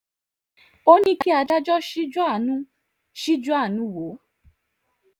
ó ní kí adájọ́ ṣíjú àánú ṣíjú àánú wò ó